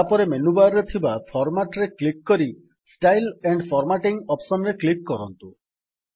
ତାପରେ menu bar ରେ ଥିବା Formatରେ କ୍ଲିକ୍ କରି ଷ୍ଟାଇଲ୍ସ ଆଣ୍ଡ୍ ଫର୍ମାଟିଂ ଅପ୍ସନ୍ ରେ କ୍ଲିକ୍ କରନ୍ତୁ